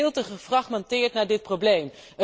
We kijken veel te gefragmenteerd naar dit probleem.